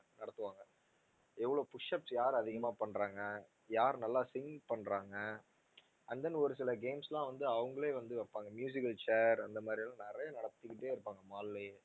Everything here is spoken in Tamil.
நடத்துவாங்க எவ்ளோ push ups யாரு அதிகமா பண்ணுறாங்க யாரு நல்லா sing பண்ணுறாங்க and then ஒரு சில games லாம் வந்து அவங்களே வந்து வைப்பாங்க al chair அந்த மாதிரிலாம் நிறைய நடத்திக்கிட்டே இருப்பாங்க mall லயே